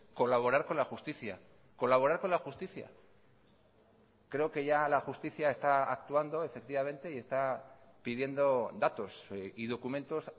colaborar con la justicia colaborar con la justicia creo que ya la justicia está actuando efectivamente y está pidiendo datos y documentos